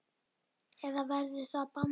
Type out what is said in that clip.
Eða verður það bannað?